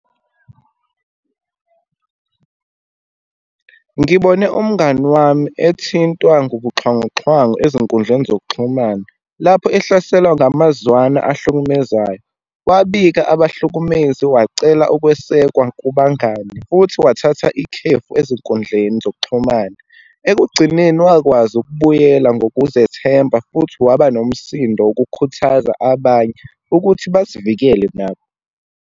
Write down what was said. Ngibone umngani wami ethintwa ngubuxhwanguxhwangu ezinkundleni zokuxhumana. Lapho ihlaselwa ngamazwana ahlukumezayo, wabika abahlukumezi, wacela ukwesekwa kubangani, futhi wathatha ikhefu ezinkundleni zokuxhumana. Ekugcineni wakwazi ukubuyela ngokuzethemba, futhi waba nomsindo ukukhuthaza abanye ukuthi bazivikele nabo.